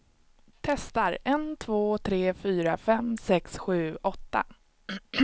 Testar en två tre fyra fem sex sju åtta.